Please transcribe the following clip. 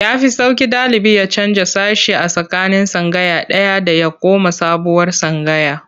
Ya fi sauƙi ɗalibi ya canja sashe a tsakanin tsangaya ɗaya da ya koma sabuwar tsangaya.